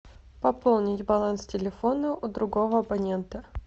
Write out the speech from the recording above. пополнить баланс телефона у другого абонента